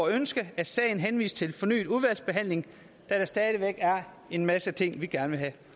ønske at sagen henvises til fornyet udvalgsbehandling da der stadig væk er en masse ting vi gerne vil have